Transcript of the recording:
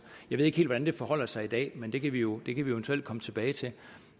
jeg ved ikke helt hvordan det forholder sig i dag men det kan vi jo eventuelt komme tilbage til